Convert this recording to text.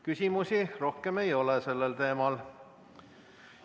Küsimusi rohkem ei ole sellel teemal.